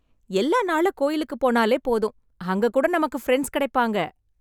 எல்லா நாளும் கோயிலுக்கு போனாலே போதும் அங்க கூட நமக்கு பிரண்ட்ஸ் கிடைப்பாங்க